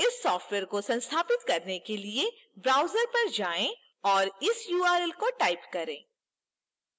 इस सॉफ्टवेयर को संस्थापित करने के लिए browser पर जाएँ और इस url को type करें